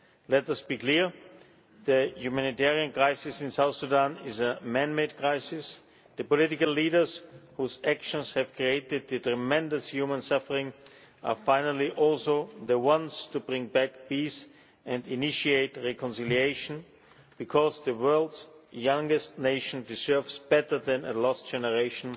Let us be clear the humanitarian crisis in South Sudan is a man made crisis. The political leaders whose actions have created the tremendous human suffering are finally also the ones to bring back peace and initiate reconciliation, because the world's youngest nation deserves better than a lost generation